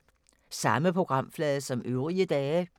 Samme programflade som øvrige dage